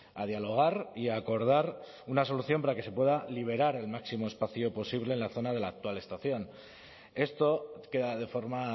a dialogar y a acordar una solución para que se pueda liberar el máximo espacio posible en la zona de la actual estación esto queda de forma